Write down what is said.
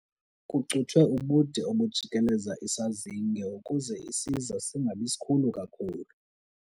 Kucuthwe ubude obujikeleze isazinge ukuze isiza singabi sikhulu kakhulu.